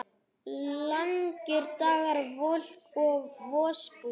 Langir dagar, volk og vosbúð.